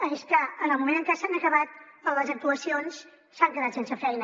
és que en el moment en què s’han acabat les actuacions s’han quedat sense feina